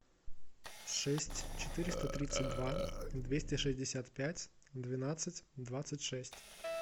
шесть четыреста тридцать два двести шестьдесят пять двенадцать двадцать шесть